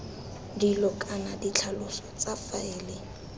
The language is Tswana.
dilo kana ditlhaloso tsa faele